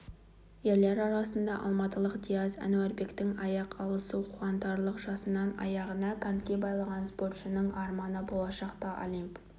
ерлер арасында алматылық диас әнуарбектің аяқ алысы қуантарлық жасынан аяғына коньки байлаған спортшының арманы болашақта олимп